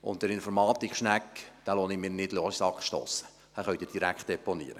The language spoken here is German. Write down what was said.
Und die Informatik-Schnecke lasse ich mir nicht in den Sack stossen, diese können Sie direkt deponieren.